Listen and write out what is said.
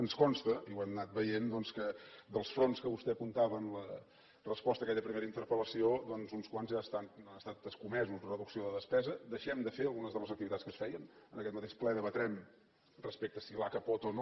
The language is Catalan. ens consta i ho hem anat veient que dels fronts que vostè apuntava en la resposta a aquella primera interpel·lació doncs uns quants ja han estat escomesos reducció de despesa deixem de fer algunes de les activitats que es feien en aquest mateix ple debatrem respecte a si l’aca pot o no